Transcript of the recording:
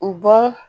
U bɔ